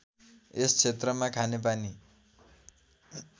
यस क्षेत्रमा खानेपानी